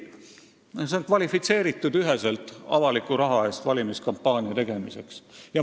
See on üheselt kvalifitseeritud avaliku raha eest valimiskampaania tegemiseks.